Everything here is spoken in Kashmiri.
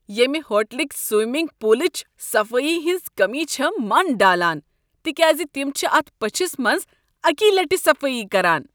ییمہ ہوٹلٕکۍ سومنٛگ پولٕچہ صفٲیی ہنٛز کٔمی چھےٚ من ڈالان تکیاز تم چھ اتھ پٔچھس منٛز اکی لٹہِ صفٲیی کران۔